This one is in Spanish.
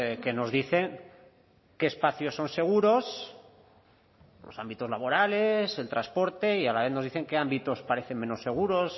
que nos dicen qué espacios son seguros los ámbitos laborales el transporte y a la vez nos dicen que ámbitos parecen menos seguros